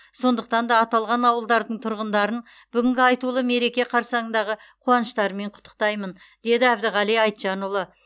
сондықтан да аталған ауылдардың тұрғындарын бүгінгі айтулы мереке қарсаңындағы қуаныштарымен құттықтаймын деді әбдіғали айтжанұлы